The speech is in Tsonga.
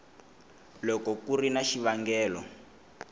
loko ku ri na xivangelo